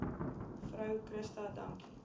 vrou christa dankie